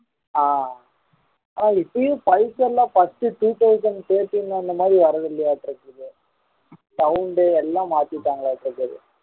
ஆஹ் அஹ் இப்பயும் pulsar ல first two thousand thirteen அந்த மாதிரி வர்றது இல்லையாட்டருக்குது sound உ எல்லாம் மாத்திட்டாங்கருக்குது